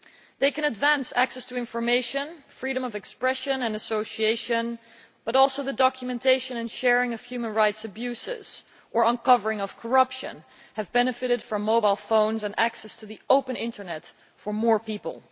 They can advance access to information, freedom of expression and association, but the documentation and sharing of human rights abuses or uncovering of corruption have benefited too from mobile phones and access to the open Internet for more people.